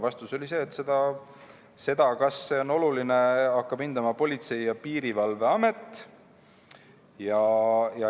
Vastus oli see, et seda, kas see on oluline, hakkab hindama Politsei- ja Piirivalveamet.